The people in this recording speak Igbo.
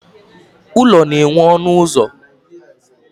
Ụlọ na nwe ọnụ ụzọ